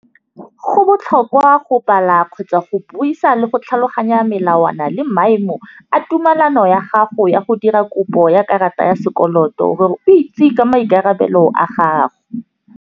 Go botlhokwa go bala kgotsa go buisa le go tlhaloganya melawana le maemo a tumelano ya gago ya go dira kopo ya karata ya sekoloto gore o itse ka maikarabelo a gago.